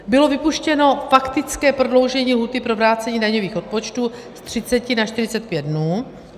Bylo vypuštěno faktické prodloužení lhůty pro vrácení daňových odpočtů z 30 na 45 dnů.